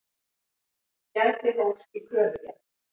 Gæti hófs í kröfugerð